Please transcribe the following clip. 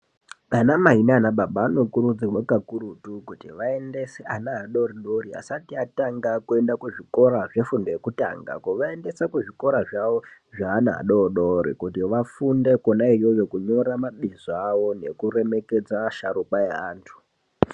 Anamai naanababa vanokurudzirwa kakurutu kuti vaendeswe ana adodori asati atanga kuenda kuzvikora zvefundo yekutanga. Kuvaendesa kuzvikora zvavo zveana adodori kuti vafunde kwona iyoyo kunyora mabizo avo nekuremekedza asharukwa eantu.